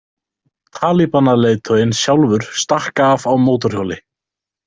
Talibanaleiðtoginn sjálfur stakk af á mótorhjóli.